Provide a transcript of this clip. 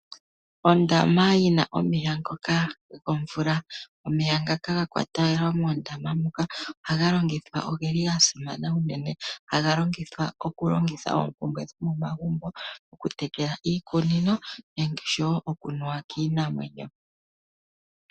Ondama yina omeya ngoka gomvula omeya ngaka gakwatelwa mondama moka ogeli gasimana uunene haga longithwa okulongitha oompumbwe dhomomagumbo okutekela iikunino osho woo okunuwa kiinamwenyo.